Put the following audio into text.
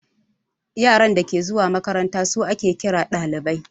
Yaran dake zuwa makaranta su ake ƙira ɗalibai